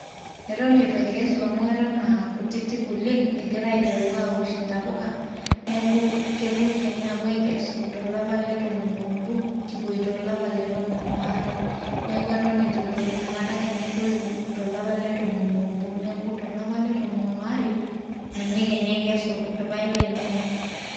eton eitu aikesu amu eton aa kutitik oleng egira aiteru aawosh intapuka neeku kepuoi kenya aapuo aikesu tolapa le tomon oobo kipuoito olapa le tomon waare neeku eton etu etoyu inakata kenya etoyu tolapa letomon oobo neeku tolapa le tomon aare ninye kenya aikesu irpayek lainei.